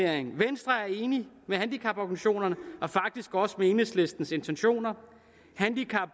at venstre er enige med handicaporganisationerne og faktisk også med enhedslistens intentioner handicap